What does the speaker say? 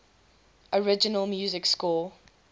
original music score